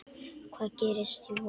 Hvað gerist í vor?